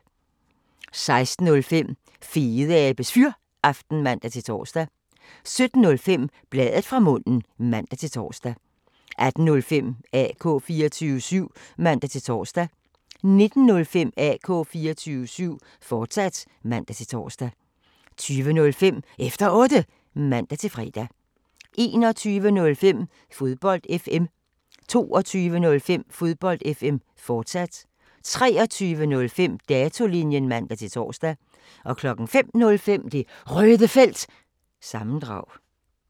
16:05: Fedeabes Fyraften (man-tor) 17:05: Bladet fra munden (man-tor) 18:05: AK 24syv (man-tor) 19:05: AK 24syv, fortsat (man-tor) 20:05: Efter Otte (man-fre) 21:05: Fodbold FM 22:05: Fodbold FM, fortsat 23:05: Datolinjen (man-tor) 05:05: Det Røde Felt – sammendrag